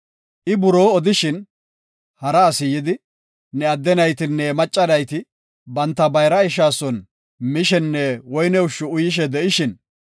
I buroo odishin, hara asi yidi, “Ne adde naytinne macca nayti banta bayra ishaa son misheenne woyne ushshi uyishee de7ishin,